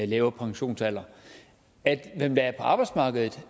lavere pensionsalder af dem der er på arbejdsmarkedet